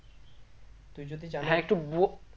তুই যদি জানিস